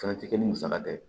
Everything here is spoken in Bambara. Fɛnɛ ti kɛ ni musaka tɛ